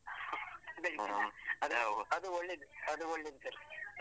ಬೆಳಿಗ್ಗೆನಾ ಅದು ಒಳ್ಳೆದು, ಅದು ಒಳ್ಳೆದು ಸರ್.